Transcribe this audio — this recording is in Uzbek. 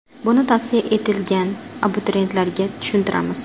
Buni tavsiya etilgan abituriyentlarga tushuntiramiz.